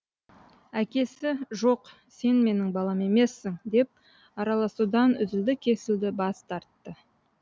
әкесі жоқ сен менің балам емессің деп араласудан үзілді кесілді бас тартты